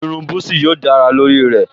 Irun búsí yóò dára lórí rẹ̀